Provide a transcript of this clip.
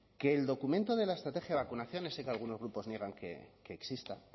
que el documento de la estrategia de vacunación ese que algunos grupos niega que exista